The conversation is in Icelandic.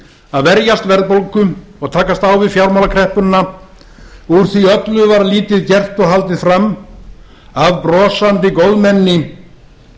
að verjast verðbólgu og takast á við fjármálakreppuna úr því öllu var lítið gert og haldið fram af brosandi góðmenni í